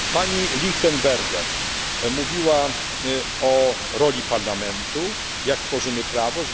Pani Lichtenberger mówiła o roli Parlamentu, gdy tworzymy prawo.